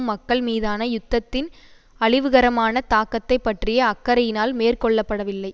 மக்கள் மீதான யுத்தத்தின் அழிவுகரமான தாக்கத்தை பற்றிய அக்கறையினால் மேற்கொள்ளபடவில்லை